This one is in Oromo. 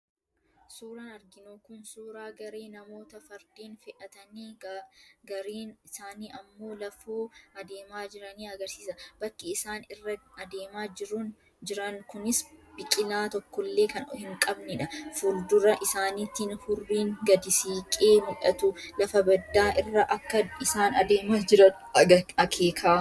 Suuraan arginu kun suuraa garee namoota fardeen fe'atanii, gariin isaanii ammoo lafoo adeemaa jiranii argisiisa. Bakki isaan irra adeemaa jirun kunis biqilaa tokkollee kan hin qabnedha. fuul-dura isaaniitiin hurriin gadi siqee mul'atu lafa baddaa irra akka isaan adeemaa jiran akeeka.